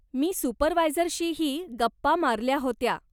मी सुपरव्हायझरशीही गप्पा मारल्या होत्या.